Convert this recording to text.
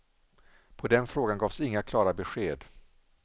På den frågan gavs inga klara besked.